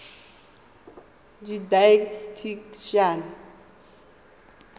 didactician